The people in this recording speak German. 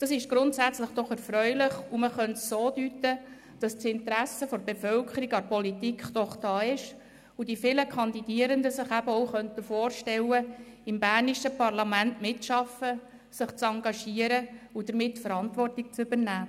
Das ist grundsätzlich erfreulich, und man könnte es so deuten, dass das Interesse der Bevölkerung an Politik doch da ist und die zahlrechen Kandidierenden sich auch vorstellen könnten, im bernischen Parlament mitzuarbeiten, sich zu engagieren und damit Verantwortung zu übernehmen.